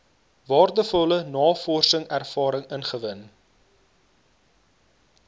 waardevolle navorsingservaring ingewin